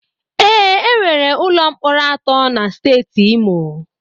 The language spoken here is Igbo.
Ee, enwere ụlọ mkpọrọ atọ na Steeti Imo.